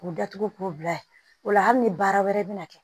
K'u datugu k'u bila ye o la hali ni baara wɛrɛ bina kɛ